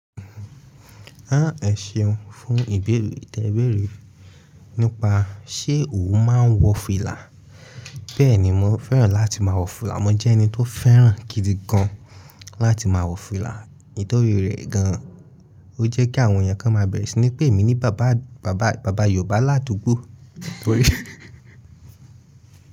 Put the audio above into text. A ẹ ṣeun fún ìbéèrè tẹ béèrè nípa ṣé o máa n wọ fìlà. Bẹ́ẹ̀ni, mo fẹ́ràn láti máa wọ fìlà. Mo jẹ́ ẹni tó fẹ́ràn gidi gan láti máa wọ fìlà. Nítorí rẹ̀ gan an, ó jẹ́ kí àwọn èèyàn kan máa bẹ̀rẹ̀ sí ní pè mí ní bàbá, bàbá, bàbá Yorùbá láàdùgbò.